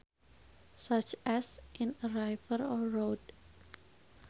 Such as in a river or road